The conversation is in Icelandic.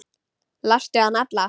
Lastu hana alla?